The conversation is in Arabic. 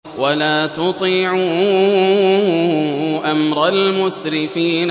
وَلَا تُطِيعُوا أَمْرَ الْمُسْرِفِينَ